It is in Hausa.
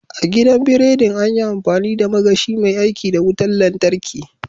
A gidan biridin, an yi amfani da magashi mai aiki da wutar lantarki.